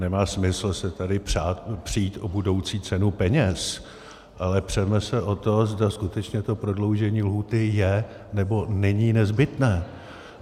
Nemá smysl se tady přít o budoucí cenu peněz, ale přeme se o to, zda skutečně to prodloužení lhůty je, nebo není nezbytné.